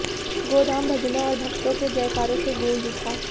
गोधाम भजनों और भक्तों के जयकारों से गूंज उठा